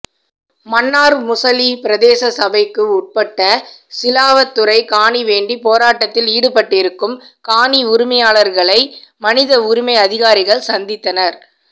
மன்னார் முசலி பிரதேச சபைக்கு உட்பட்ட சிலாவத்துறை காணிவேண்டி போராட்டத்தில் ஈடுபட்டிருக்கும் காணி உரிமையாளர்களை மனித உரிமை அதிகாரிகள் சந்தித்தனர்